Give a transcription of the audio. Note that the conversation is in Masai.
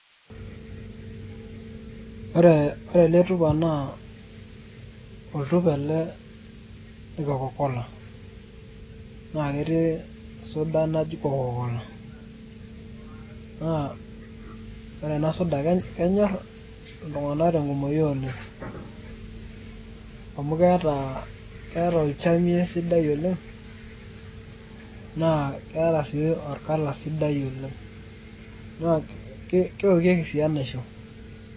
Ore ele tupa naa oltupa ele le Coca-Cola. Na ketii suda naji Coca-Cola. Naa ore ena suda, kenyor iltung'anak tenkumoyu oleng'. Amu keeta olchamei sidai oleng' naa keeta si orkala sidai oleng'. Na keokieki si enaisho.